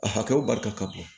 A hakɛw barika ka bon